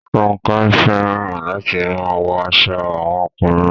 Ronke fẹràn latin maa wọ aṣọ awọn ọkunrin